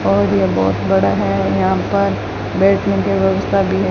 और ये बहोत बड़ा है यहां पर बैठने की व्यवस्था भी है।